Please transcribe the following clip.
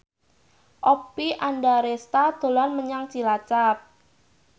Oppie Andaresta dolan menyang Cilacap